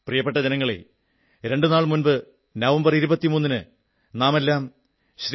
പ്രിയപ്പെട്ട ജനങ്ങളേ രണ്ടു നാൾ മുമ്പ് നവംബർ 23 ന് നാമെല്ലാം ശ്രീ